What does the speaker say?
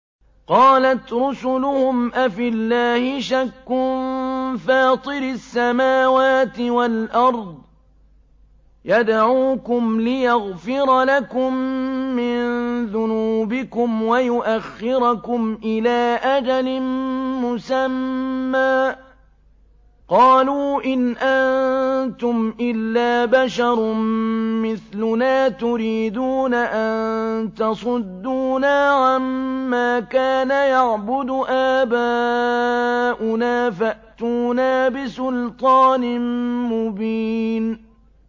۞ قَالَتْ رُسُلُهُمْ أَفِي اللَّهِ شَكٌّ فَاطِرِ السَّمَاوَاتِ وَالْأَرْضِ ۖ يَدْعُوكُمْ لِيَغْفِرَ لَكُم مِّن ذُنُوبِكُمْ وَيُؤَخِّرَكُمْ إِلَىٰ أَجَلٍ مُّسَمًّى ۚ قَالُوا إِنْ أَنتُمْ إِلَّا بَشَرٌ مِّثْلُنَا تُرِيدُونَ أَن تَصُدُّونَا عَمَّا كَانَ يَعْبُدُ آبَاؤُنَا فَأْتُونَا بِسُلْطَانٍ مُّبِينٍ